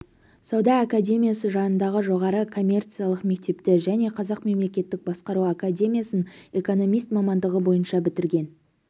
сауда академиясы жанындағы жоғары коммерциялық мектепті және қазақ мемлекеттік басқару академиясын экономист мамандығы бойынша бітірген